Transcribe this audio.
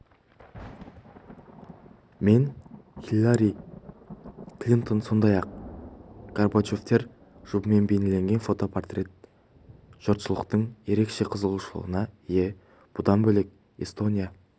мен хиллари клинтон сондай-ақ горбачевтер жұбымен бейнеленген фотопортрет жұртшылықтың ерекше қызығушылығына ие бұдан бөлек эстония